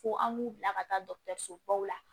Fo an b'u bila ka taa dɔgɔtɔrɔsobaw la